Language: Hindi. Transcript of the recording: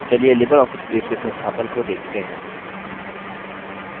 चलिए libreoffice base के संस्थापन को देखते हैं